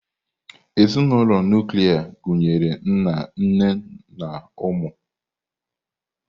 Ezinụlọ nuklia gụnyere nna, nne na ụmụ.